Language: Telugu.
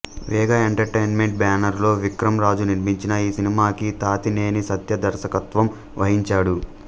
వేగ ఎంటర్టైన్మెంట్ బ్యానరులో విక్రమ్ రాజు నిర్మించిన ఈ సినిమాకి తాతినేని సత్య దర్శకత్వం వహించాడు